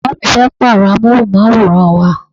Bàbá mi fẹ́ pàrọ amohunmaworan wá.